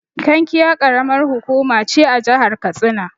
Kankia Ƙaramar hukuma ce a jahar katsina.